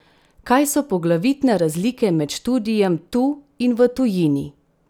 Kaj so poglavitne razlike med študijem tu in v tujini?